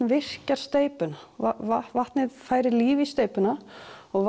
virkjar steypuna vatnið færir líf í steypuna og